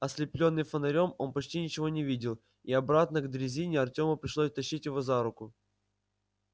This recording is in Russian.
ослеплённый фонарём он почти ничего не видел и обратно к дрезине артёму пришлось тащить его за руку